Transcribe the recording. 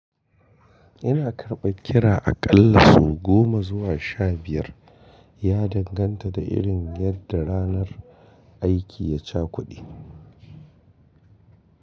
Ina karɓar kira aƙalla sau goma zuwa sha biyar, ya danganta da irin yadda ranar aiki ya cakude.